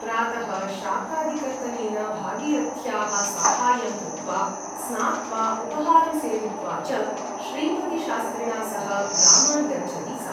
प्रातः शाकादिकर्तनेन भागीरथ्याः साहाय्यं कृत्वा स्नात्वा उपाहारं सेवित्वा च श्रीपतिशास्त्रिणा सह ग्रामान् गच्छति सा ।